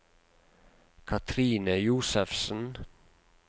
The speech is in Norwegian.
Katrine Josefsen